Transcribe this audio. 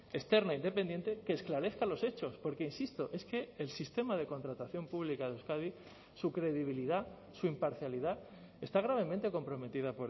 externa independiente que esclarezca los hechos porque insisto es que el sistema de contratación pública de euskadi su credibilidad su imparcialidad está gravemente comprometida